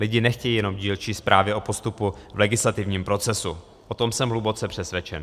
Lidi nechtějí jenom dílčí zprávy o postupu v legislativním procesu, o tom jsem hluboce přesvědčen.